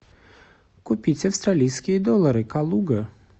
купить австралийские доллары калуга